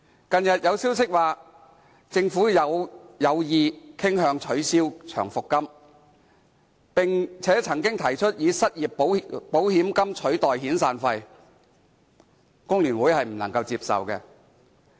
近日有消息指，政府傾向取消長期服務金，並曾經提出以失業保險金取代遣散費，工聯會認為不能接受。